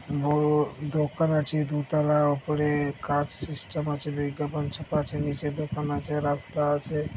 বড়ো দোকান আছে দোতলা উপরে কাঁচ সিস্টেম আছে বিজ্ঞাপন ছাপা আছে নীচে দোকান আছে রাস্তা আছে ।